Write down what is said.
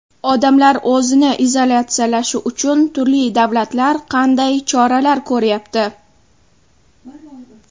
Odamlar o‘zini izolyatsiyalashi uchun turli davlatlar qanday choralar ko‘ryapti?